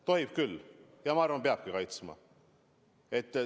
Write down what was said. Tohib küll ja ma arvan, et peabki kaitsma.